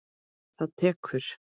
Það tekur